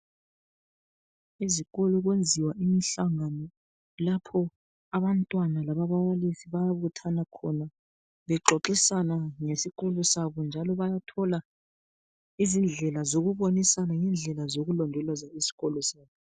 Esikolo kuyenziwa imhlangano lapho abantwana lababalisi bayabuthana khona bexoxisana ngesikolo sabo njalo bayathola izindlela zokubonisana ngendlela zokulondoloza isikolo sabo